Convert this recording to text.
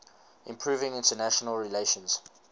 improving international relations